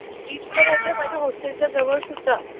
ए तुला माहितीये माझा हॉस्टेल च्या जवळ सुद्धा